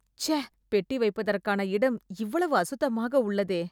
சை.. பெட்டி வைப்பதற்கான இடம் எவ்வளவு சுத்தமாக உள்ளதே